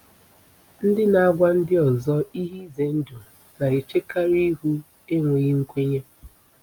Ndị na-agwa ndị ọzọ ihe ize ndụ na-echekarị ihu enweghị nkwenye.